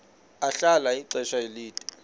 ahlala ixesha elide